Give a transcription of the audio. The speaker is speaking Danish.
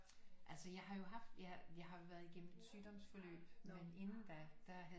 Altså jeg har jo haft jeg har været igennem et sygdomsforløb men inden da der havde